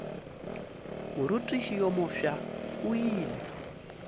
morutiši yo mofsa o ile